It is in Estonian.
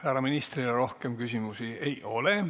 Härra ministrile rohkem küsimusi ei ole.